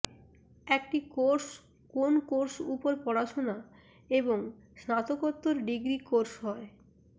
একটি কোর্স কোন কোর্স উপর পড়াশোনা এবং স্নাতকোত্তর ডিগ্রী কোর্স হয়